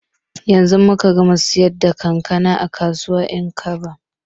Yanzu muka gama siyar da kankana a kasuwar 'yankaba.